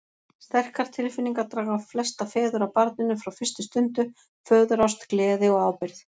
Sterkar tilfinningar draga flesta feður að barninu frá fyrstu stundu, föðurást, gleði og ábyrgð.